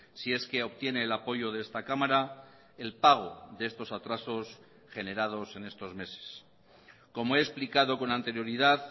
si es que obtiene el apoyo de esta cámara el pago de estos atrasos generados en estos meses como he explicado con anterioridad